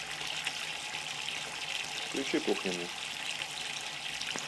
включи кухню мне